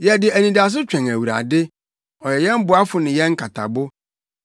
Yɛde anidaso twɛn Awurade; ɔyɛ yɛn boafo ne yɛn nkatabo.